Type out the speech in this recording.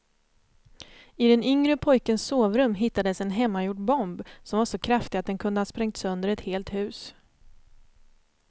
I den yngre pojkens sovrum hittades en hemmagjord bomb som var så kraftig att den kunde ha sprängt sönder ett helt hus.